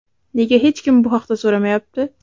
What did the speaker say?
Nega hech kim bu haqda so‘ramayapti?